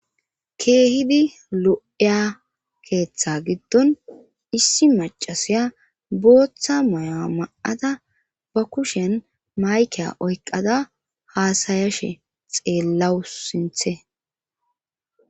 keehidi lo7eya keeththa giddon issi macasiya booththa moya ma7ada ba kushen mayke oyqada haasayashe xeellawus sinthe